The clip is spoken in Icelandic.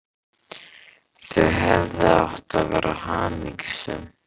Þau hefðu átt að vera hamingjusöm.